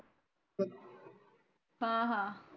हा हा